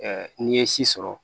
n'i ye si sɔrɔ